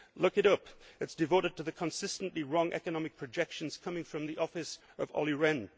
Look it up. It is devoted to the consistently wrong economic projections coming from the office of Olli